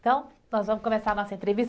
Então, nós vamos começar a nossa entrevista.